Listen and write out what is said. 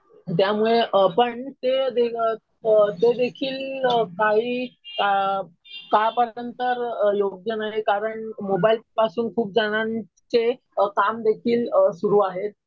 त्यामुळे पण ते अ तो देखील काही असेन तर योग्य नव्हे. कारण मोबाईल पासून खूप जणांचे काम देखील सुरु आहेत.